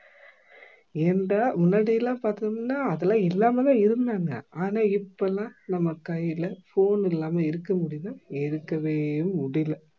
ஏன்டா முன்னாடி எல்லாம் பாத்தீங்கன்னா அதெல்லாம் இல்லாம தான் இருந்தாங்க ஆனா இப்பெல்லாம் நம்ம கையில phone இல்லாம இருக்க முடியுதா இருக்கவே முடியல